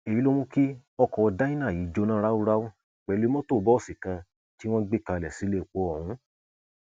èyí ló mú kí ọkọ dyna yìí jóná ráúráú pẹlú mọtò bọọsì kan tí wọn gbé kalẹ sílépọ ọhún